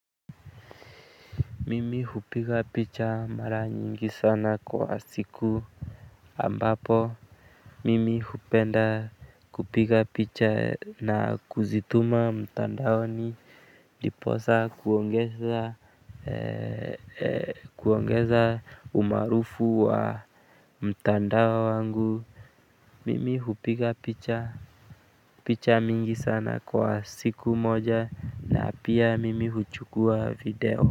Mimi hupiga picha mara nyingi sana kwa siku. Ambapo mimi hupenda kupiga picha na kuzituma mtandaoni ndiposa kuongeza, kuongeza umaarufu wa mtandao wangu. Mimi hupiga picha picha mingi sana kwa siku moja na pia mimi huchukua video.